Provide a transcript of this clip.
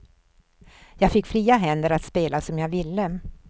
Jag fick fria händer att spela som jag ville.